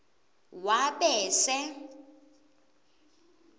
wabese